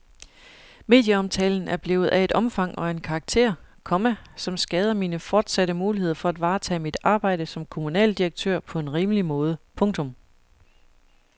Medieomtalen er blevet af et omfang og en karakter, komma som skader mine fortsatte muligheder for at varetage mit arbejde som kommunaldirektør på en rimelig måde. punktum